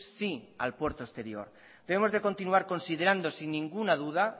sí al puerto exterior debemos de continuar considerando sin ninguna duda